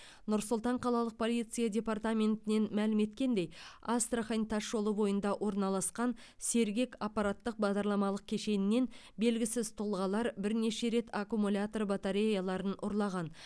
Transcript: нұр сұлтан қалалық полиция департаментінен мәлім еткендей астрахан тасжолы бойында орналасқан сергек аппараттық бағдарламалық кешенінен белгісіз тұлғалар бірнеше рет аккумулятор батареяларын ұрлаған